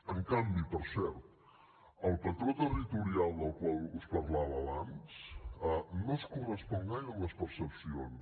en canvi per cert el patró territorial del qual us parlava abans no es correspon gaire amb les percepcions